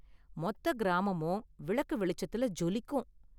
மொத்த கிராமமும் விளக்கு வெளிச்சத்துல ஜொலிக்கும்.